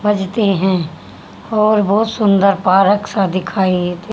बजते है और बहुत सुंदर सा पारक सा दिखाई दे --